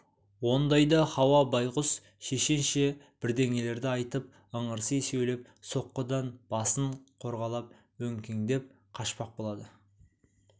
ондайда хауа байғұс шешенше бірдеңелерді айтып ыңырси сөйлеп соққыдан басын қорғалап өңкеңдеп қашпақ болады